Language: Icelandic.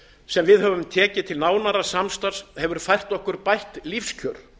sem við höfum tekið til nánara samstarfs hefur fært okkur bætt lífskjör